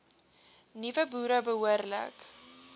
nuwe boere behoorlik